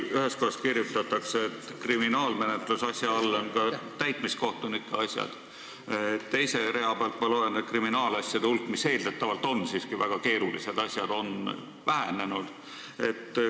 Ühes kohas on kriminaalmenetluse all ka täitmiskohtunike asjad, teise rea pealt loen, et kriminaalasju, mis eeldatavalt on siiski väga keerulised asjad, on vähemaks jäänud.